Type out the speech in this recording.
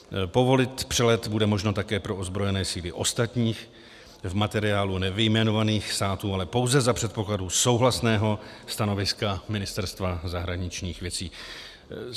Povolit přelet bude možno také pro ozbrojené síly ostatních, v materiálu nevyjmenovaných států, ale pouze za předpokladu souhlasného stanoviska Ministerstva zahraničních věcí.